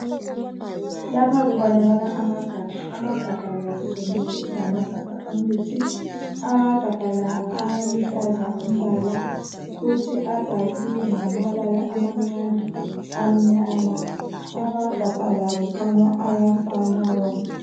Lapha kubonakala amagabha amagabha la kutshengisela ukuthi ngamagabha emithi amagabha la aluhlaza umbala futhi abhaliwe ngamabala amancane amnyama amagabha la kukhanya ayafana wonke.